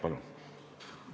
Palun!